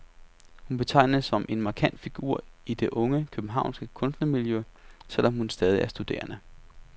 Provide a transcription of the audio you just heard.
Hun betegnes som en markant figur i det unge, københavnske kunstnermiljø, selv om hun stadig er studerende.